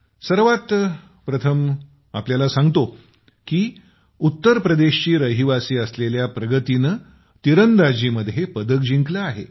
सर्वात प्रथम आपल्याला सांगतो की उत्तरप्रदेशची रहिवासी असलेल्या प्रगतीने तिरंदाजीत पदक जिंकलं आहे